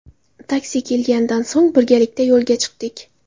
Taksi kelganidan so‘ng birgalikda yo‘lga chiqdik.